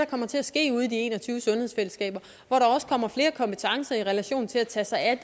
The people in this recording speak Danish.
kommer til at ske ude i de en og tyve sundhedsfællesskaber hvor der også kommer flere kompetencer i relation til at tage sig af